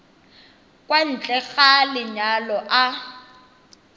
kwa ntle ga lenyalo a